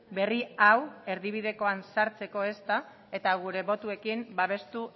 berri hau erdibidekoan sartzeko ezta eta gure botuekin babestu